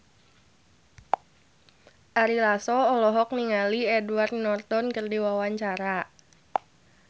Ari Lasso olohok ningali Edward Norton keur diwawancara